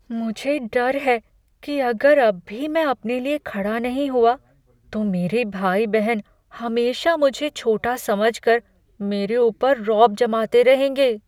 मुझे डर है कि अगर अब भी मैं अपने लिए खड़ा नहीं हुआ तो मेरे भाई बहन हमेशा मुझे छोटा समझ कर मेरे ऊपर रौब जमाते रहेंगे।